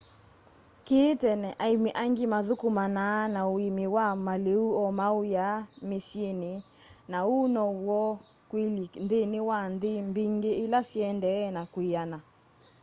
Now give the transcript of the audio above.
kĩĩ tene aĩmi aingĩ mathũkũmanaa na ũĩmĩ wa malĩu o ma'ũya mĩsyĩnĩ na ũu no w'o kũĩlyĩ nthĩnĩ wa nthĩ mbingĩ ila siendee na kwĩana